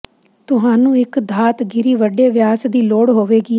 ਤੁਹਾਨੂੰ ਇੱਕ ਧਾਤ ਗਿਰੀ ਵੱਡੇ ਵਿਆਸ ਦੀ ਲੋੜ ਹੋਵੇਗੀ